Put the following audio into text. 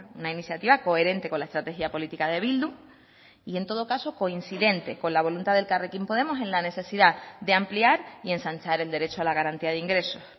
una iniciativa coherente con la estrategia política de bildu y en todo caso coincidente con la voluntad de elkarrekin podemos en la necesidad de ampliar y ensanchar el derecho a la garantía de ingresos